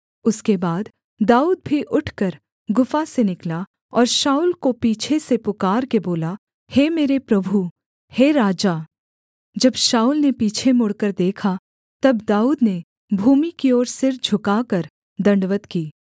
उसके बाद दाऊद भी उठकर गुफा से निकला और शाऊल को पीछे से पुकारके बोला हे मेरे प्रभु हे राजा जब शाऊल ने पीछे मुड़कर देखा तब दाऊद ने भूमि की ओर सिर झुकाकर दण्डवत् की